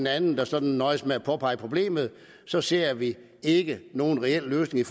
andet der sådan nøjes med at påpege problemet så ser vi ikke nogen reel løsning i